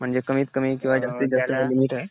म्हणजे कमीत कमी जास्तीत जास्त काही लिमिट आहे?